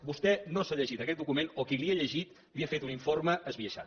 vostè no s’ha llegit aquest document o qui li ha llegit li ha fet un informe esbiaixat